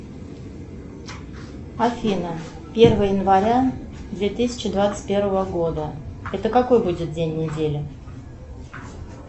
афина первое января две тысячи двадцать первого года это какой будет день недели